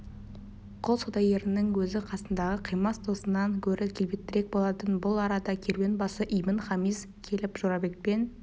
құл саудагерінің өзі қасындағы қимас досынан гөрі келбеттірек болатын бұл арада керуенбасы ибн-хамис келіп жорабекпен